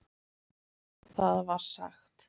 Þar var sagt